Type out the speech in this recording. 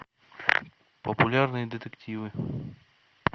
популярные детективы